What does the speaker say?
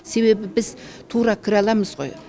себебі біз тура кіре аламыз ғой